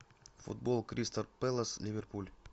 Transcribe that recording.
футбол кристал пэлас ливерпуль